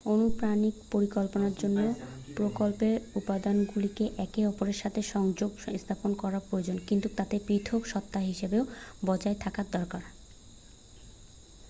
অনুপ্রাণিত পরিকল্পনার জন্য প্রকল্পের উপাদানগুলিকে একে অপরের সাথে সংযোগ স্থাপন করা প্রয়োজন কিন্তু তাদের পৃথক সত্ত্বা হিসাবেও বজায় থাকা দরকার